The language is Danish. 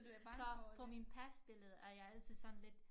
Klar på min pasbillede er jeg altid sådan lidt